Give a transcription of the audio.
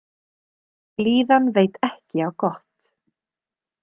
Blíðan veit ekki á gott